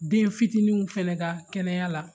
Den fitininw fana ka kɛnɛya la